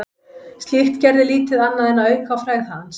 Slíkt gerði lítið annað en að auka á frægð hans.